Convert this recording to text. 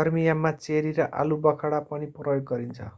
गर्मीयाममा cherry र आलुबखडा पनि प्रयोग गरिन्छ